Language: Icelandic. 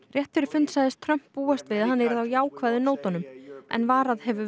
rétt fyrir fund sagðist Trump búast við að hann yrði á jákvæðu nótunum en varað hefur